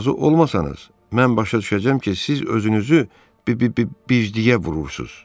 Razı olmasanız, mən başa düşəcəm ki, siz özünüzü b-b-b-birjliyə vurursuz.